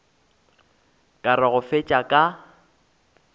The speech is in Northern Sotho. ka re go fetša ka